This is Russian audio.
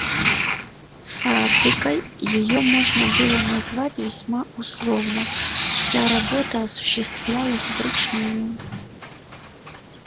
фабрикой её можно было назвать весьма условно вся работа осуществлялась вручную